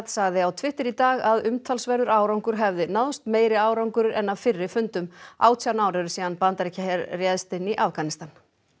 sagði á Twitter í dag að umtalsverður árangur hefði náðst meiri árangur en af fyrri fundum átján ár eru síðan Bandaríkjaher réðst inn í Afganistan